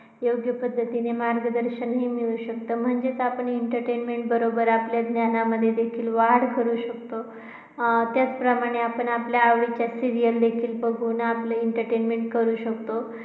योग्य पद्धतीने मार्गदर्शन मिळू शकत. म्हणजेच आपण entertainment बरोबर आपल्या ज्ञानामध्ये सुद्धा वाढ करू शकतो. अं त्याचबरोबर आपण आपल्या आवडीच्या serial देखील बघून entertainment करू शकतो.